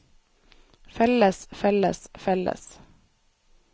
felles felles felles